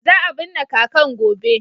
Za a binne kakan gobe.